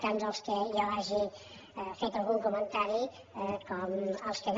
tant dels que jo hagi fet algun comentari com els que no